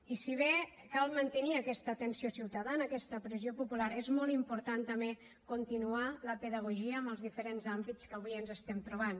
i si bé cal mantenir aquesta atenció ciutadana aquesta pressió popular és molt important també continuar la pedagogia en els diferents àmbits que avui ens estem trobant